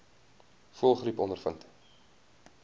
voëlgriep ondervind